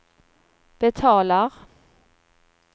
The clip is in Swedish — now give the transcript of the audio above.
betalar